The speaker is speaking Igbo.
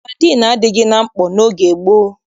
Sadịn adịghị na mkpọ n'oge gboo.